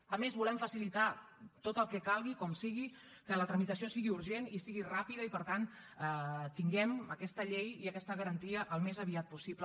a més volem facilitar tot el que calgui com sigui que la tramitació sigui urgent i sigui ràpida i per tant tinguem aquesta llei i aquesta garantia al més aviat possible